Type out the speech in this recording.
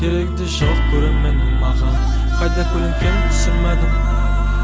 керегі де жоқ көрерменнің маған